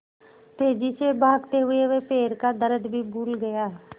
तेज़ी से भागते हुए वह पैर का दर्द भी भूल गया